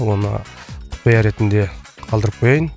оны құпия ретінде қалдырып қояйын